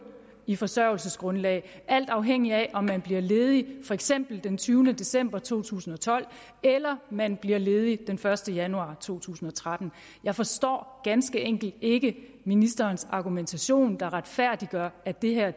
i forsørgelsesgrundlag alt afhængigt af om man bliver ledig for eksempel den tyvende december to tusind og tolv eller man bliver ledig den første januar to tusind og tretten jeg forstår ganske enkelt ikke ministerens argumentation der skal retfærdiggøre at det her